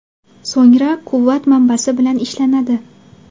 So‘ngra quvvat manbasi bilan ishlanadi.